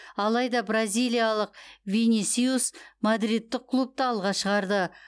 алайда бразилиялық винисиус мадридтік клубты алға шығарды